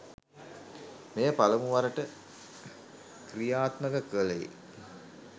මෙය පළමු වරට කි්‍රයාත්මක කළේ